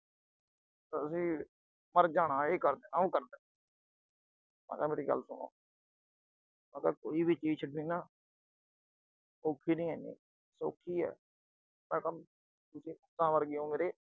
ਕਹਿੰਦਾ ਅਸੀਂ ਮਰ ਜਾਣਾ, ਏ ਕਰ ਦੇਣਾ, ਉਹ ਕਰ ਦੇਣਾ, ਮੈਂ ਕਿਹਾ ਮੇਰੀ ਗੱਲ ਸੁਣੋ ਮੈਂ ਕਿਹਾ ਕੋਈ ਵੀ ਚੀਜ਼ ਛੱਡਣੀ ਨਾ ਅਹ ਔਖੀ ਨੀਂ ਐਨੀ, ਸੌਖੀ ਆਹ ਮੈਂ ਕਿਹਾ ਤੁਸੀਂ ਪੁੱਤਾਂ ਵਰਗੇ ਓਂ ਮੇਰੇ।